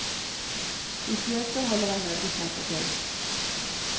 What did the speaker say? I fjøset holder en møbelsnekker til.